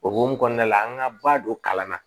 O hukumu kɔnɔna la an ka ba don kalan na